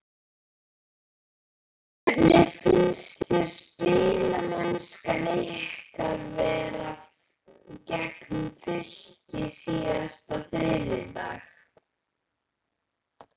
Hvernig fannst þér spilamennskan ykkar vera gegn Fylki síðasta þriðjudag?